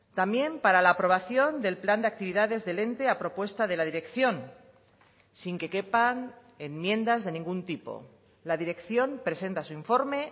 también para la aprobación del plan de actividades del ente a propuesta de la dirección sin que quepan enmiendas de ningún tipo la dirección presenta su informe